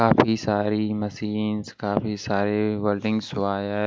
काफी सारी मशीन्स काफी सारे वर्ल्डिंग्स वायर्स --